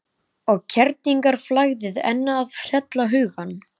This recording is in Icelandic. Og kerlingarflagðið enn að hrella hugann.